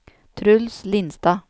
Truls Lindstad